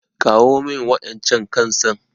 Kawo min waƴancan kan san.